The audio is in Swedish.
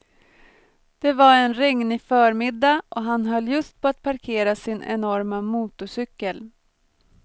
Det var en regnig förmiddag och han höll just på att parkera sin enorma motorcykel.